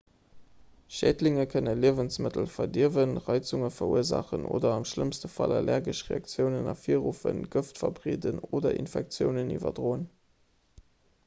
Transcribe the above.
schädlinge kënne liewensmëttel verdierwen reizunge verursaachen oder am schlëmmste fall allergesch reaktiounen ervirruffen gëft verbreeden oder infektiounen iwwerdroen